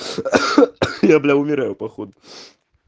я блядь умираю походу